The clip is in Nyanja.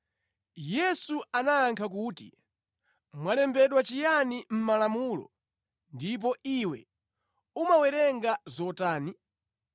Yesu anayankha kuti, “Mwalembedwa chiyani mʼMalamulo, ndipo iwe umawerenga zotani?”